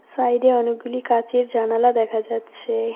সাইডে অনেকগুলি কাচের জানালা দেখা যাচ্ছে।